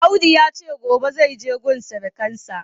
Audu yace gobe zaije gun surukansa.